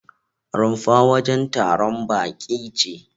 Rumfa wajen taron baƙi ce.